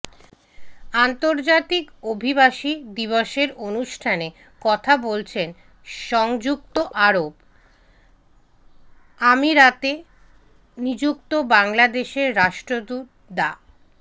আন্তর্জাতিক অভিবাসী দিবসের অনুষ্ঠানে কথা বলছেন সংযুক্ত আরব আমিরাতে নিযুক্ত বাংলাদেশের রাষ্ট্রদূত ডা